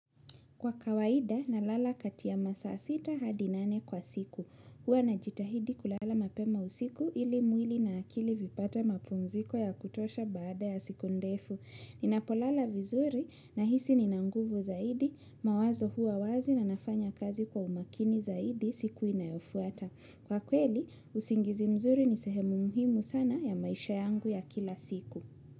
Kwa kawaida nalala kati ya masaa sita hadi nane kwa siku. Huwa najitahidi kulala mapema usiku ili mwili na akili vipate mapumziko ya kutosha baada ya siku ndefu. Ninapolala vizuri nahisi nina nguvu zaidi mawazo hua wazi na nafanya kazi kwa umakini zaidi siku inayofuata. Kwa kweli, usingizi mzuri ni sehemu muhimu sana ya maisha yangu ya kila siku.